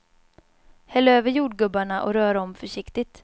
Häll över jordgubbarna och rör om försiktigt.